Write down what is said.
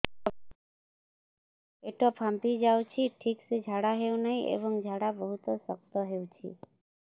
ପେଟ ଫାମ୍ପି ଯାଉଛି ଠିକ ସେ ଝାଡା ହେଉନାହିଁ ଏବଂ ଝାଡା ବହୁତ ଶକ୍ତ ହେଉଛି